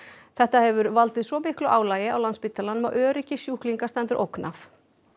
þetta hefur valdið svo miklu álagi á Landspítalanum að öryggi sjúklinga stendur ógn af